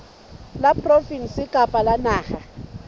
la provinse kapa la naha